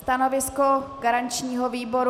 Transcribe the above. Stanovisko garančního výboru?